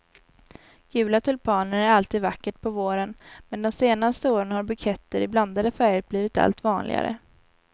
Gula tulpaner är alltid vackert på våren, men de senaste åren har buketter i blandade färger blivit allt vanligare.